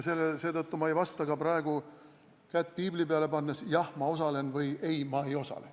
Seetõttu ei vasta ma ka praegu kätt piibli peale pannes, et jah, ma osalen, või ei, ma ei osale.